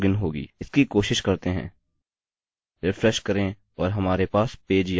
इसकी कोशिश करते हैं रिफ्रेश करें और हमारे पास पेज यहाँ है